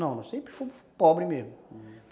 Não, nós sempre fomos pobres mesmo. Uhum.